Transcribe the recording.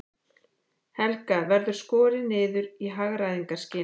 Helga: Verður skorið niður í hagræðingarskyni?